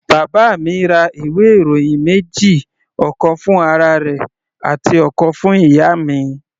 Bàbá mi ra ìwé ìròyìn méjì, ọ̀kan fún ara rẹ̀ àti ọ̀kan fún ìyá mi.